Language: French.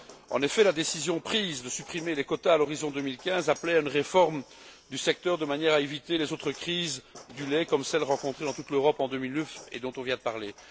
En effet, la décision prise de supprimer les quotas à l'horizon 2015 appelait à une réforme du secteur de manière à éviter les autres crises du lait, comme celle rencontrée dans toute l'Europe en 2009, dont on vient de parler.